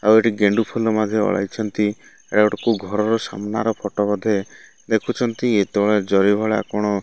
ଆଉ ଏଠି ଗେଣ୍ଡୁଫୁଲ ମଧ୍ୟ ଓଳାଇଛନ୍ତି ଏଟା ଗୋଟେ କୋଉ ଘରର ସାମ୍ନାର ଫଟୋ ବୋଧେ ଦେଖୁଛନ୍ତି ଏ ତଳେ ଜରି ଭଳିଆ କଣ --